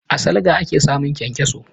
A salga ake samun kyankyaso.